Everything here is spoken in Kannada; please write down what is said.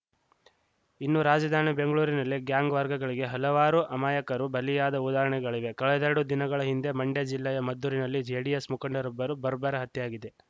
ಇನ್ನು ರಾಜಧಾನಿ ಬೆಂಗ್ಳುರಿನಲ್ಲಿ ಗ್ಯಾಂಗ್‌ವಾರ್‌ಗಳಿಗೆ ಹಲವಾರು ಅಮಾಯಕರು ಬಲಿಯಾದ ಉದಾಹರಣೆಗಳಿವೆ ಕಳೆದೆರೆಡು ದಿನಗಳ ಹಿಂದೆ ಮಂಡ್ಯ ಜಿಲ್ಲೆಯ ಮದ್ದೂರಿನಲ್ಲಿ ಜೆಡಿಎಸ್‌ ಮುಖಂಡರೊಬ್ಬರು ಬರ್ಬರ ಹತ್ಯೆಯಾಗಿದೆ